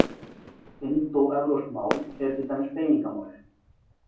Indóevrópsk mál eru til dæmis beygingamál.